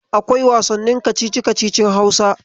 Akwai wasannin kacici-kacicin Hausa.